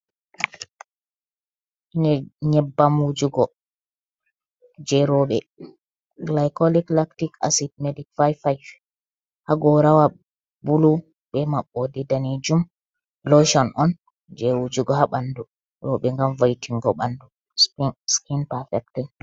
Nyebbam wujugo, je roɓe, gilykolik laktik asit medik 55 hagorawa bulu be mabbode danejum, loshon on je wujugo habandu roɓe ngam vo'itingo ɓandu skin pafektin.